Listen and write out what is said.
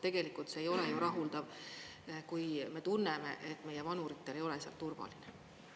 Tegelikult see ei ole ju rahuldav, kui me tunneme, et meie vanuritel ei ole seal turvaline.